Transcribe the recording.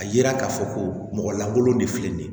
A yira k'a fɔ ko mɔgɔ lankolon de filɛ nin ye